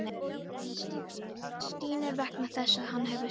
Hann stynur vegna þess að hann hefur svikið allt.